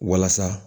Walasa